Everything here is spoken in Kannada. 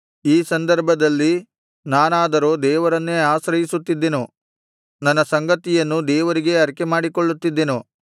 ಈ ಸಂದರ್ಭದಲ್ಲಿ ನಾನಾದರೋ ದೇವರನ್ನೇ ಆಶ್ರಯಿಸುತ್ತಿದ್ದೆನು ನನ್ನ ಸಂಗತಿಯನ್ನು ದೇವರಿಗೇ ಅರಿಕೆಮಾಡಿಕೊಳ್ಳುತ್ತಿದ್ದೆನು